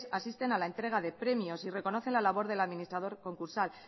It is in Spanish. asisten a la entrega de premios y reconocen la labor del administrador concursal